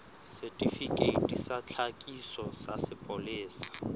setifikeiti sa tlhakiso sa sepolesa